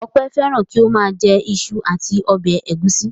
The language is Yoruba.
Ọpẹ́ fẹ́ràn kí ó máa jẹ iṣu àti ọbẹ̀ ẹ̀gúsí.